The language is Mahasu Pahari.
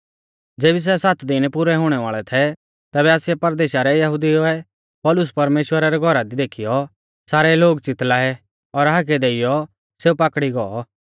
ज़ेबी सै सात दिन पुरै हुणै वाल़ै थै तैबै आसिया परदेशा रै यहुदिऊ ऐ पौलुस परमेश्‍वरा रै घौरा दी देखीयौ सारै लोग च़ितल़ाऐ और हाकै देइयौ सेऊ पाकड़ी गौ